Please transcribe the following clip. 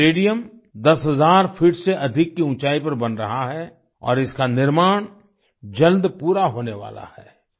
यह stadium 10000 feet से अधिक की ऊँचाई पर बन रहा है और इसका निर्माण जल्द पूरा होने वाला है